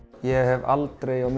ég hef aldrei á